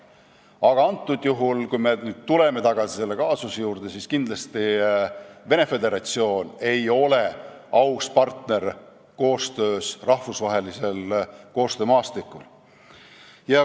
Aga kui me nüüd tuleme tagasi selle kaasuse juurde, siis tuleb öelda, et Venemaa Föderatsioon ei ole kindlasti aus partner rahvusvahelisel koostöömaastikul.